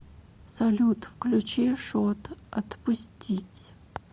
салют включи шот отпустить